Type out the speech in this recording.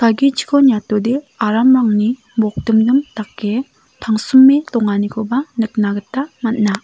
agichiko niatode aramrangni bokdimdim dake tangsime donganikoba nikna gita man·a.